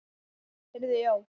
Heyrðu já.